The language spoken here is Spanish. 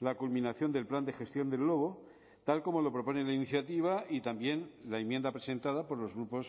la culminación del plan de gestión del lobo tal como lo propone la iniciativa y también la enmienda presentada por los grupos